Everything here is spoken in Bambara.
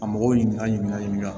A mɔgɔw ɲininka ɲininkali ɲininka